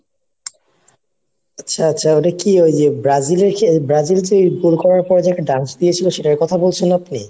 আচ্ছা আচ্ছা ওটা কি ওই যে ব্রাজিলের ব্রাজিল করার পরে যে একটা dance দিয়েছিল সেটার কথা বলছেন আপনি?